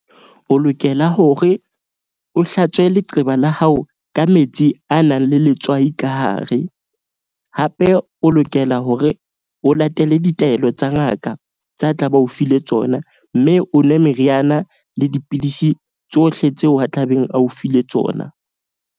O lokela hore o hlatswe leqeba la hao ka metsi a nang le letswai ka hare. Hape o lokela hore o latele ditaelo tsa ngaka tsa a tla ba o file tsona. Mme o nwe meriana le dipidisi tsohle tseo a tlabeng a o file tsona.